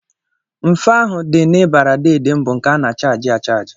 Mfe ahụ dị n'ịbarị deede m bụ nke a na-achaajị achajị